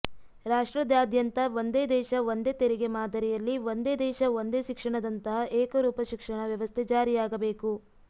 ರಾಷ್ಟ್ರದಾದ್ಯಂತ ಒಂದೇ ದೇಶ ಒಂದೇ ತೆರಿಗೆ ಮಾದರಿಯಲ್ಲಿ ಒಂದೇ ದೇಶ ಒಂದೇ ಶಿಕ್ಷಣದಂತಹ ಏಕರೂಪ ಶಿಕ್ಷಣ ವ್ಯವಸ್ಥೆ ಜಾರಿಯಾಗಬೇಕು